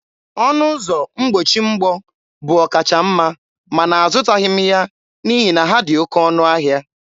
Ọnụ ụzọ mgbochi mgbọ bụ ọkachamma mana azụtaghị m ya n'ihi na ha dị oké ọnụ ahịa.